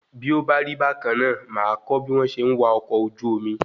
Bí ó bá rí bákanná, máa a kọ́ bí wọn ṣe ń wá ọkọ̀ ojú omi